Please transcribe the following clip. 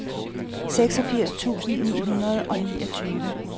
seksogfirs tusind ni hundrede og niogtyve